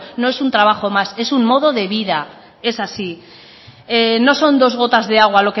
no es un trabajo más es un modo de vida es así no son dos gotas de agua